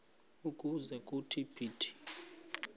ukuze kuthi phithi